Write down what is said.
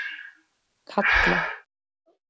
Kalla